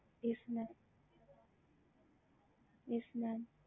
ஹம்